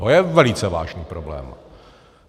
To je velice vážný problém.